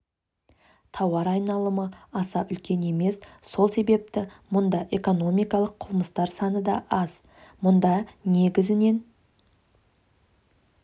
тауар айналымы аса үлкен емес сол себепті мұнда экономикалық қылмыстар саны да аз мұнда негізінен